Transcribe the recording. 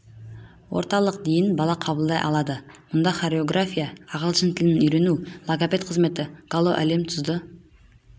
орталық дейін бала қабылдай алады мұнда хореография ағылшын тілін үйрену логопед қызметі гало әлемі тұзды